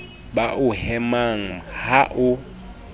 ba o hemang ha o